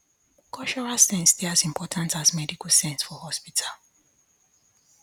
cultural sense dey as important as medical sense for hospital